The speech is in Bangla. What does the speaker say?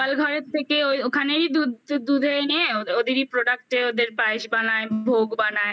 তো গোয়াল ঘরের থেকে ওই ওখানেই দুধ দুধে এনে ওদেরই product ওদের পায়েস বানায় ভোগ বানায়